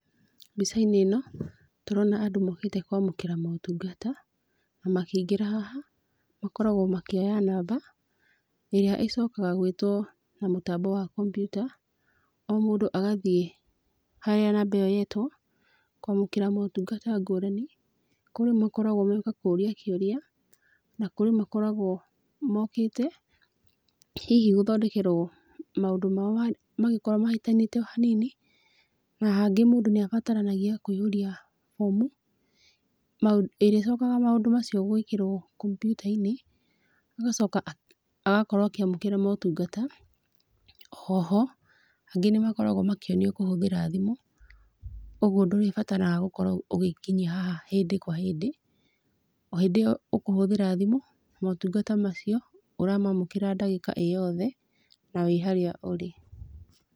Mbica-inĩ ĩno tũrona andũ mokĩte kwamũkĩra motungata, na makĩingĩra haha makoragwo makĩoya namba, ĩrĩa ĩcokaga gwĩtwo na mũtambo wa kompiuta, o mũndũ agathiĩ harĩa namba ĩyo yetwo kwamũkĩra motungata ngũrani, kũrĩ makoragwo magĩũka kũrĩa kĩũria, na kũrĩ makoragwo mokĩte hihi gũthondekerwo maũndũ mao mangĩkorwo mahĩtanĩte hanini, na hangĩ mũndũ nĩ abataranagia kũihũria bomu ĩrĩa ĩcokaga maũndũ macio gwĩkĩrwo kompiuta-inĩ, agacoka agakorwo akĩamũkĩra motungata. O ho angĩ nĩ makoragwo makĩonio kũhũthĩra thimũ o, ũguo ndũrĩbataraga gũkorwo ũgĩkinyia haha hĩndĩ kwa hĩndĩ, o hĩndĩ ĩyo ũkũhũthĩra thimũ motungata macio ũramamũkĩra ndagĩka ĩ yothe na wĩ harĩa ũrĩ.